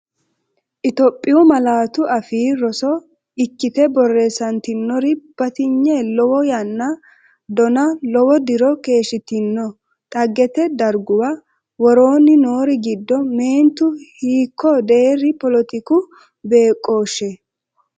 Itophiyu Malaatu Afii Roso ikkite borreessantinori batinye lowo yanna donna, lowo diro keeshshitino dhaggete darguwa, Woroonni noori giddo meentu hiikko deerri poletiku beeqqooshshe?